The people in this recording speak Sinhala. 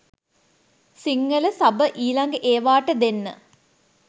සිංහල සබ ඊලග ඒවාට දෙන්න